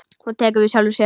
Hún tekur við sjálfri sér.